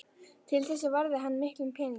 Til þessa varði hann miklum peningum.